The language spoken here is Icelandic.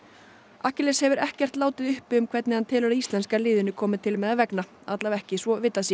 akkiles hefur ekkert látið uppi um hvernig hann telur að íslenska liðinu komi til með að vegna allavega ekki svo vitað sé